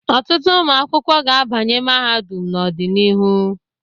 Ọtụtụ ụmụ akwụkwọ ga-abanye mahadum n'ọdịnihu.